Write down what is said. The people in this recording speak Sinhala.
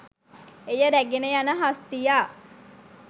එය රැගෙන යන හස්තියා